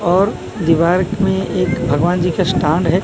और दीवारक में एक भगवान जी का स्टांड है।